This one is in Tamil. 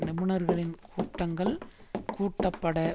நிபுணர்களின் கூட்டங்கள் கூட்டப்பட